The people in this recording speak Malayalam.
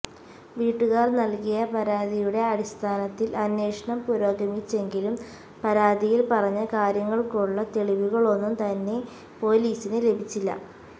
വീട്ടുകാർ നൽകിയ പരാതിയുടെ അടിസ്ഥാനത്തിൽ അന്വേഷണം പുരോഗമിച്ചെങ്കിലും പരാതിയിൽ പറഞ്ഞ കാര്യങ്ങൾക്കുള്ള തെളിവുകൾ ഒന്നും തന്നെ പൊലീസിന് ലഭിച്ചില്ല